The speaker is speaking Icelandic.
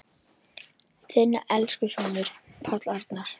Þinn elsku sonur, Páll Arnar.